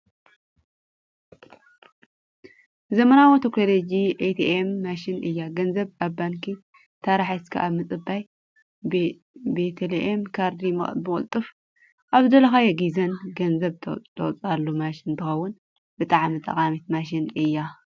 ዘመናዊ ቴክኖሌጂ ኤትኤም ማሽን እያ። ገንዘብ ኣብ ባንኪ ታራ ሒዝካ ካብ ምፅባይ ብኤትኤም ካርዲ ብቅልጡፍን ኣብ ዝደለካዮ ግዜን ገንዘብ ተውፀኣላ ማሽን እንትከውን ብጣዕሚ ጠቃሚት ማሽን እያ።